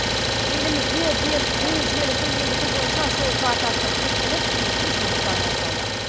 елімізде бес джи желісін енгізу бойынша жол картасы бекітіліп тиісті жұмыстар басталды